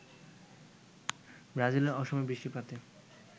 ব্রাজিলে অসময়ে বৃষ্টিপাতে